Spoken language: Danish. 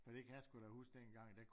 For det kan jeg sgu da huske dengang